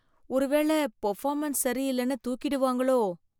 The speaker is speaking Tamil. ஒருவேள பர்ஃபாமென்ஸ் சரியிலென்னு தூக்கிடுவாங்களோ!